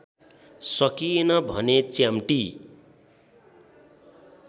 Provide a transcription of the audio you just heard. सकिएन भने च्याम्पटी